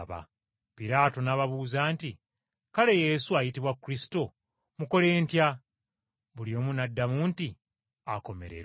Piraato n’ababuuza nti, “Kale Yesu, ayitibwa Kristo, mukole ntya?” buli omu n’addamu nti, “Akomererwe!”